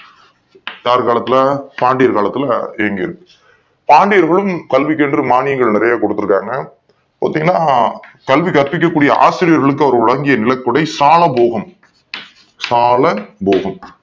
யார் காலத்துல பாண்டியர் காலத்துல இயங்கி ருக்கு பாண்டியர்களும் கல்விக்கு மானியங்கள் நிறைய கொடுத்து இருக்காங்க பாத்தீங்கன்னா கல்வி கற்பிக்கக் கூடிய ஆசிரியர்களுக்கு அவர்கள் வழங்கிய நிலக்குடை சாலபோகம் சாலபோகம் சாலபோகம் சாலபோகம்